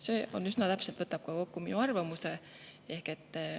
" See võtab üsna täpselt kokku minu arvamuse.